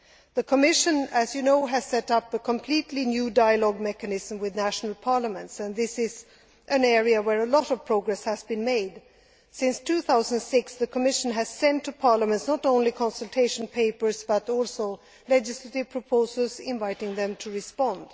The Commission, as you know, has set up a completely new dialogue mechanism with national parliaments, and this is an area where a lot of progress has been made. Since 2006, the Commission has sent to parliaments not only consultation papers, but also legislative proposals, inviting them to respond.